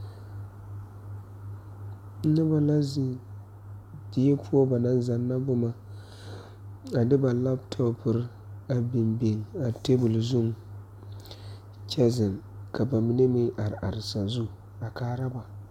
Nobɔ la zeŋ die poɔ ba naŋ zanna boma ane ba laptɔpure a biŋ biŋa tabole zuŋ kyɛ zeŋ ka ba mine meŋ are are sazu a kaara ba.